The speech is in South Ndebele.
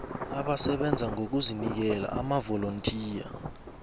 abasebenza ngokuzinikela amavolontiya